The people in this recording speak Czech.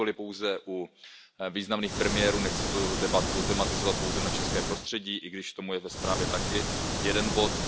Nikoliv pouze u významných premiérů, nechci tu debatu tematizovat pouze na české prostředí, i když k tomu je ve zprávě taky jeden bod.